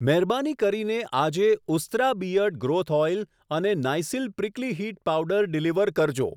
મહેરબાની કરીને આજે ઉસ્ત્રા બીઅર્ડ ગ્રોથ ઓઈલ અને Nycil prickly heat powder deliver કરજો.